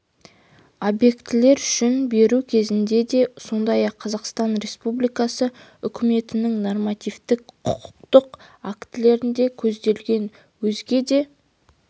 объектілер үшін беру кезінде де сондай-ақ қазақстан республикасы үкіметінің нормативтік құқықтық актілерінде көзделген өзге де